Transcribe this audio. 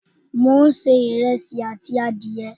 mo n se iresi ati adiye